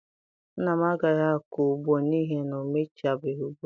Nna m agaghị akọ ugbo n'ihi na o mechabeghị ugbo ya